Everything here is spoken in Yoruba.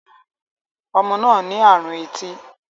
Ọmọ náà ní àrùn etí